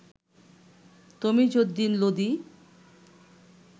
Tamiz Uddin Lodi